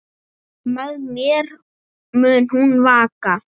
Með mér mun hún vaka.